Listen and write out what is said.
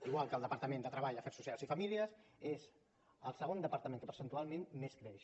igual que el departament de treball afers socials i famílies és el segon departament que percentualment més creix